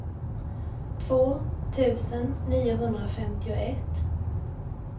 två tusen niohundrafemtioett